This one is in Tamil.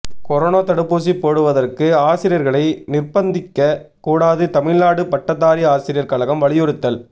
கொரோனா தடுப்பூசி போடுவதற்கு ஆசிரியர்களை நிர்ப்பந்திக்க கூடாது தமிழ்நாடு பட்டதாரி ஆசிரியர் கழகம் வலியுறுத்தல்